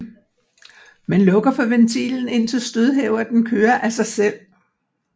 Man lukker for ventilen indtil stødhæverten kører af sig selv